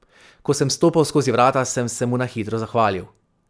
Ko sem stopal skozi vrata, sem se mu na hitro zahvalil.